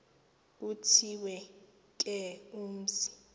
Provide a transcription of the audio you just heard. kuthiwe ke umzi